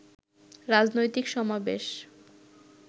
রাজনৈতিক সমাবেশ